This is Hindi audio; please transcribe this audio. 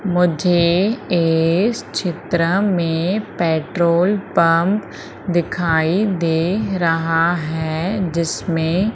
मुझे इस चित्र में पेट्रोल पंप दिखाई दे रहा है जिसमें--